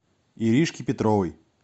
иришки петровой